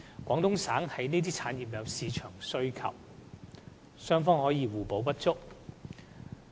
廣東省對這些產業有市場需求，雙方可互補不足。